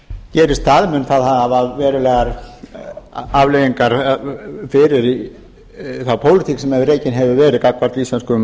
gerist það mun það hafa verulegar afleiðingar fyrir þá pólitík sem rekin hefur verið gagnvart íslenskum